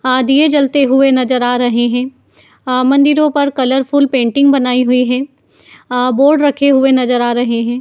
आ- दिए जलते हुए नजर आ रहे हैं। आ- मन्दिरों पर कलरफूल पेंटिंग बनाई हुई है। आ- बोर्ड रखे हुए नजर आ रहे हैं।